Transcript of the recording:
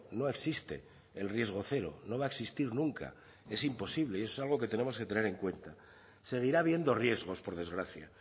no existe el riesgo cero no va a existir nunca es imposible y eso es algo que tenemos que tener en cuenta seguirá habiendo riesgos por desgracia